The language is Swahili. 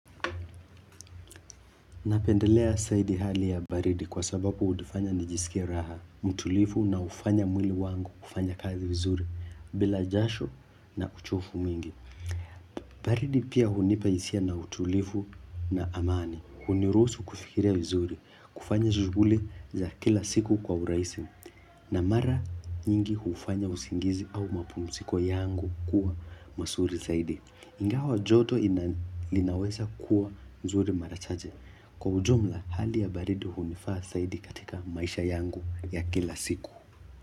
Napendelea zaidi hali ya baridi kwa sababu hunifanya nijisikie raha, mtulivu na ufanya mwili wangu kufanya kazi vizuri bila jasho na uchovu mwingi. Baridi pia hunipa hisia na utulivu na amani, huniruhusu kufikiria vizuri, kufanya shughuli za kila siku kwa urahisi na mara nyingi hufanya usingizi au mapumziko yangu kuwa mazuri zaidi. Ingawa joto linaweza kuwa zuri mara chache. Kwa ujumla hali ya baridi hunifaa zaidi katika maisha yangu ya kila siku.